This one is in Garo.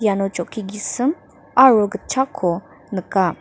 iano chokki gisim aro gitchakko nika.